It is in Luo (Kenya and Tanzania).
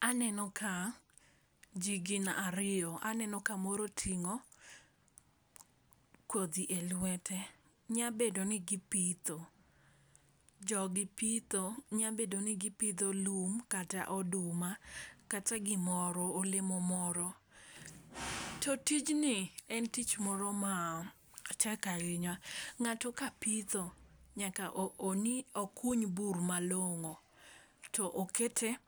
Aneno ka, jii gin ariyo. Aneno kamoro oting'o kodhi e lwete. Nyabedo ni gipitho. Jogi pitho, nyabedo ni gipidho lum kata oduma, kata gimoro, olemo moro. To tijni, en tich moro matek ahinya. Ng'ato ka pitho, nyaka okuny bur malong'o. To okete